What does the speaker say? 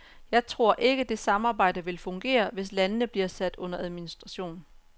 Jeg tror ikke, det samarbejde vil fungere, hvis landene bliver sat under administration.